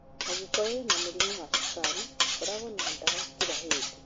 Angĩkorwo wina mũrimũ wa cukari, koragwo na dawa kila hĩndĩ